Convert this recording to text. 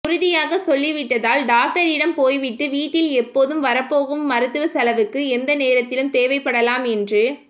உறுதியாக சொல்லிவிட்டதால் டாக்டரிடம் போய்விட்டு வீட்டில் எப்போதும் வரப்போகும் மருத்துவச்செலவுக்கு எந்த நேரத்திலும் தேவைப்படலாம் என்று